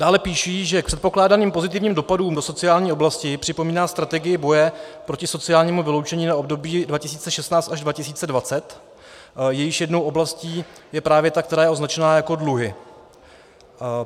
Dále píší, že k předpokládaným pozitivním dopadům do sociální oblasti - připomíná strategii boje proti sociálnímu vyloučení na období 2016 až 2020, jejichž jednou oblastí je právě ta, která je označena jako dluhy.